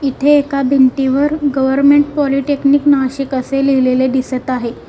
इथे एका भिंतीवर गव्हर्नमेंट पॉलीटेक्निक नाशिक असे लिहिलेले दिसत आहे.